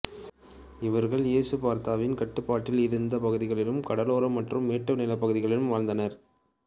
இவர்கள் எசுபார்த்தாவின் கட்டுப்பாட்டில் இருந்த பகுதிகளிலும் கடலோர மற்றும் மேட்டு நிலப்பகுதிகளில் வாழ்ந்துவந்தனர்